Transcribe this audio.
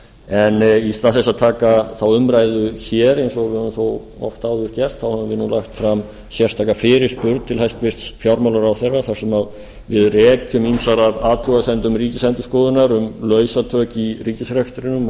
en í stað þess að taka þá umræðu hér eins og við höfum oft áður gert án ef ég lagt fram sérstaka fyrirspurn til hæstvirts fjármálaráðherra þar sem við rekjum ýmsar af athugasemdum ríkisendurskoðunar um lausatök í ríkisrekstrinum